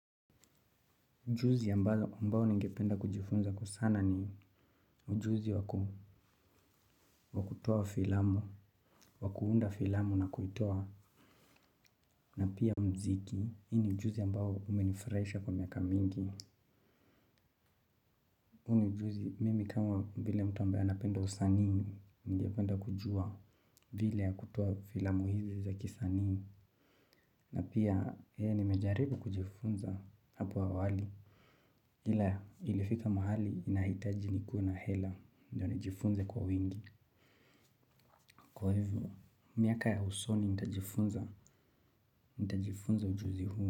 Ujuzi ambao ningependa kujifunza kwa sana ni ujuzi wa kutoa filamu, wa kuunda filamu na kuitoa na pia mziki. Hii ni ujuzi ambao umenifuraisha kwa miaka mingi. Huu ni ujuzi mimi kama vile mtu ambaye anapenda usanii ningependa kujua vile kutoa filamu hizi za kisanii. Na pia nimejaribu kujifunza hapo awali ile ya ilifika mahali inahitaji nikuwe na hela ndio nijifunze kwa wingi. Kwa hivyo, miaka ya usoni nitajifunza nitajifunza ujuzi huo.